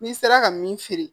N'i sera ka min feere